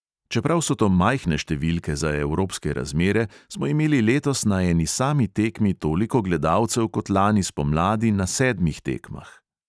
Čeprav so to majhne številke za evropske razmere, smo imeli letos na eni sami tekmi toliko gledalcev kot lani spomladi na sedmih tekmah.